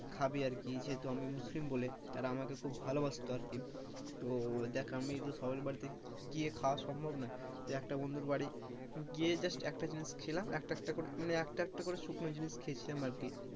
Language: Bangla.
খাবি আর কি যেহেতু আমি মুসলিম বলে তারা আমাকে খুব ভালোবাসতো আর কি, তো দেখ আমি সবার বাড়িতে গিয়ে খাওয়া সম্ভব নই, তো একটা বন্ধুর বাড়ি গিয়ে একটা জিনিস খেলাম একটা একটা মানে একটা একটা করে শুকনো জিনিস খেয়েছিলাম আর কি,